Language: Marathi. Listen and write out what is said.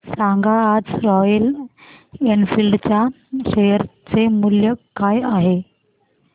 सांगा आज रॉयल एनफील्ड च्या शेअर चे मूल्य काय आहे